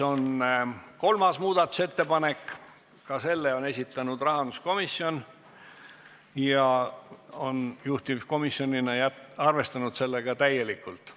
Kolmas muudatusettepanek, ka selle on esitanud rahanduskomisjon ja juhtivkomisjon on seda arvestanud täielikult.